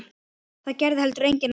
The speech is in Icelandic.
Það gerði heldur enginn annar.